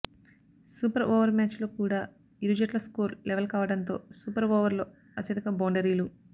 super over match లో కూడా ఇరు జట్ల స్కోర్ లెవల్ కావడంతో సూపర్ ఓవర్ లో అత్యధిక బౌండరీలు